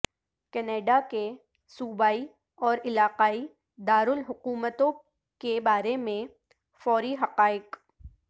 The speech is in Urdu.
کینیڈا کے صوبائی اور علاقائی دارالحکومتوں کے بارے میں فوری حقائق